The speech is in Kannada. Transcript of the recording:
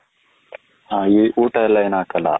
ಹ ಊಟ ಎಲ್ಲ ಏನು ಹಾಕಲ್ಲ ?